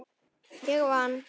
Ég vann!